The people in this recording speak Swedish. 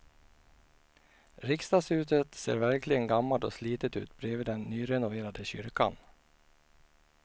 Riksdagshuset ser verkligen gammalt och slitet ut bredvid den nyrenoverade kyrkan.